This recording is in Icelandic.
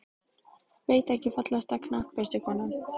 Veit ekki Fallegasta knattspyrnukonan?